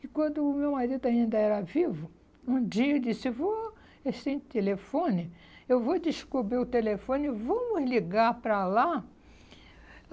E quando o meu marido ainda era vivo, um dia ele disse, vou, é sem telefone, eu vou descobrir o telefone, vamos ligar para lá.